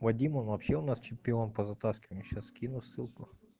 вадим он вообще у нас чемпион по затаскиванию сейчас скину ссылку